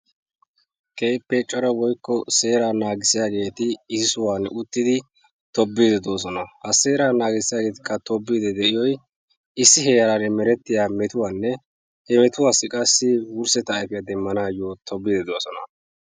Keehippe cora woykko seeraa naagissiyageeti issi sohuwan uttidi tobbiiddi de"oosona. Ha seeraa naagissiyageetikka tobbiiddi de"iyoyi issi heeran merettiya metuwaanne he metuwassi qassi wurssetta ayfiya demmanaayyo tobbiiddi de"oosona.